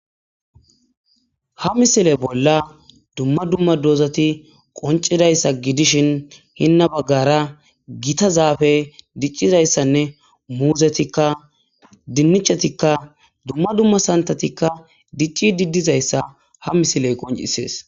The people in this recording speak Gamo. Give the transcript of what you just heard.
ha misile bolla dumma dumma doozati qoncidayssa gidishin hinna baggara gita zaafe diccidayssanne muuzetikka dinnichetikka dumma dumma santatikka dicci diddizayssa ha misiley qoncisees